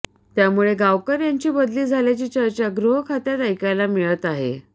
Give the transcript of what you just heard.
त्यामुळे गावकर यांची बदली झाल्याची चर्चा गृहखात्यात ऐकायला मिळत आहे